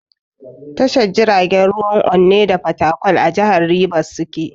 Tashar jiragen ruwan Onne da Fatakwal a jihar Ribas suke.